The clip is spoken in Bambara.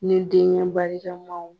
Ni denkɛ barikamanw .